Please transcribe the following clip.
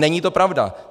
Není to pravda.